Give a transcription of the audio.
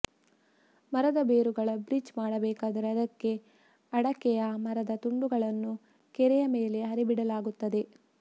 ಮರದ ಬೇರುಗಳ ಬ್ರಿಡ್ಜ್ ಮಾಡಬೇಕಾದರೆ ಅದಕ್ಕೆ ಅಡಕೆಯ ಮರದ ತುಂಡುಗಳನ್ನು ಕೆರೆಯ ಮೇಲೆ ಹರಿಯಬಿಡಲಾಗುತ್ತದೆ